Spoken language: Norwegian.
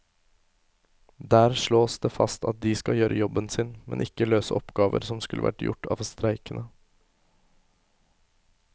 Der slås det fast at de skal gjøre jobben sin, men ikke løse oppgaver som skulle vært gjort av streikende.